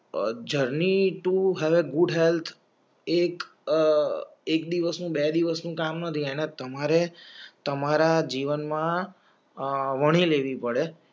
a Journey to have a good health એક બે દિવસ કામ નથી અને તમારે તમારા જીવન માં વણી લેવી પડે